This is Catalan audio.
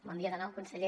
bon dia de nou conseller